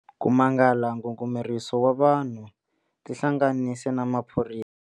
Ku mangala ngungumeriso wa vanhu tihlanganise na maphorisa eka.